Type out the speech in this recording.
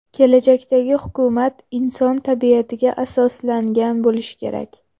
Kelajakdagi hukumat inson tabiatiga asoslangan bo‘lishi kerak.